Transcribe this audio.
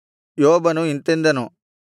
ಯೋಬನು ಇಂತೆಂದನು